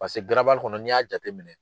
Pase garabali kɔnɔ n'i y'a jateminɛ